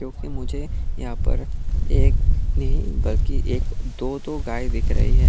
क्योंकि मुझे यहां पर एक नहीं बाकी एक दो दो गाय दिख रही है।